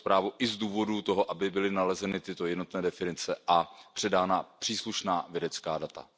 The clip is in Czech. tuto zprávu i z důvodu toho, aby byly nalezeny tyto jednotné definice a předána příslušná vědecká data.